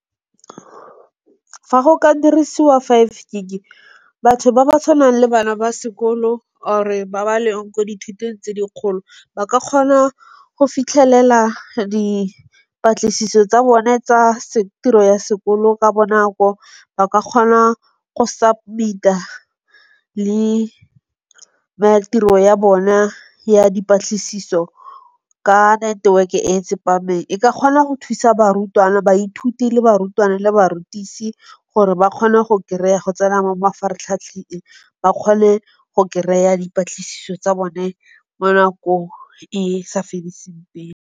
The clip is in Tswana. Fa go ka dirisiwa five gig-e batho ba ba tshwanang le bana ba sekolo or-re ba ba leng mo dithutong tse di kgolo ba ka kgona go fitlhelela dipatlisiso tsa bone tsa tiro ya sekolo ka bonako, ba ka kgona go submit-a le tiro ya bona ya dipatlisiso ka network-e e tsepameng. E ka kgona go thusa barutwana, baithuti, le barutwana le barutisi gore ba kgone go kry-a go tsena mo mafaratlhatlheng, ba kgone go kry-a dipatlisiso tsa bone mo nakong e e sa fediseng pelo.